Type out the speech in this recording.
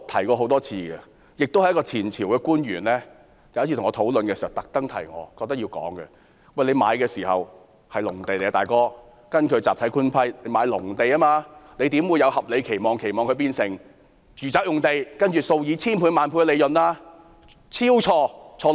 我曾多次提及，一名前朝官員有一次跟我討論時特別提醒我說：若發展商收購的土地是集體官契下的農地，他們怎能有合理期望，期望這些農地會變成住宅用地，然後從中取得數以千萬倍的利潤呢？